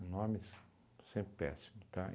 Nomes, sempre péssimo, tá?